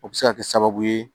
O bɛ se ka kɛ sababu ye